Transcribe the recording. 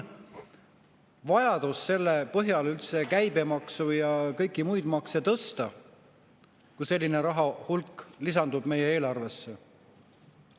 Kas üldse on vajadust käibemaksu ja kõiki muid makse tõsta, kui selline rahahulk lisandub meie eelarvesse?